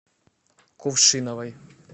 кувшиновой